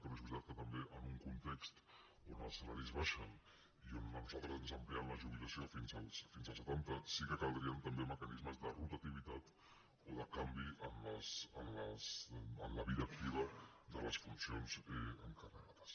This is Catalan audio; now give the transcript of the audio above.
però és veritat que també en un context on els salaris baixen i on a nosaltres ens amplien la jubilació fins als setanta sí que caldrien també mecanismes de rotativitat o de canvi en la vida activa de les funcions encarregades